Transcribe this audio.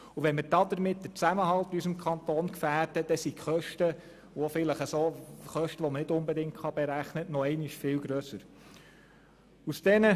Wenn wir damit den Zusammenhalt in unserem Kanton gefährden, fallen auch die Kosten, die man nicht unbedingt berechnen kann, noch einmal viel grösser aus.